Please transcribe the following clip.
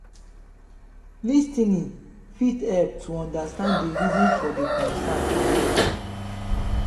lis ten ing fit help to understand di reasons for di concern or issue